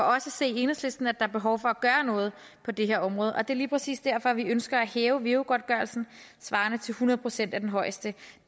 os at se i enhedslisten at er behov for at gøre noget på det her område og det er lige præcis derfor at vi ønsker at hæve veu godtgørelsen svarende til hundrede procent af den højeste